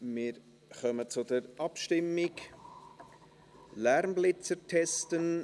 Wir kommen zur Abstimmung, «Lärmblitzer testen»: